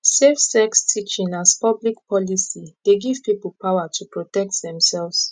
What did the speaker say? safe sex teaching as public policy dey give people power to protect themselves